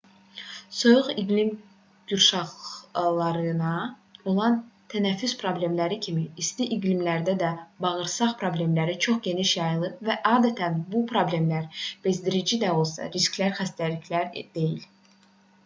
soyuq iqlim qurşaqlarına olan tənəffüs problemləri kimi isti iqlimlərdə də bağırsaq problemləri çox geniş yayılıb və adətən bu problemlər bezdirici də olsa riskli xəstəliklər deyil